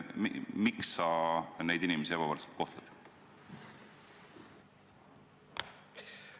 Miks sa neid inimesi ebavõrdselt kohtled?